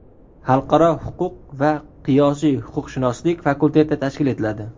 Xalqaro huquq va qiyosiy huquqshunoslik fakulteti tashkil etiladi.